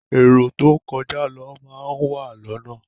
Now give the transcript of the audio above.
Èrò tó ń kọjá lọ máa má wà lọ́nà.